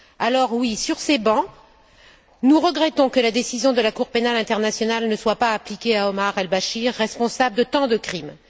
Alors, oui, sur ces bancs, nous regrettons que la décision de la Cour pénale internationale ne soit pas appliquée à Omar el Béchir, responsable de tant de crimes.